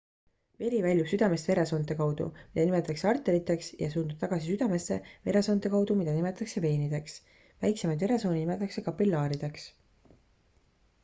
veri väljub südamest veresoonte kaudu mida nimetatakse arteriteks ja suundub tagasi südamesse veresoonte kaudu mida nimetatakse veenideks väikseimaid veresooni nimetatakse kapillaarideks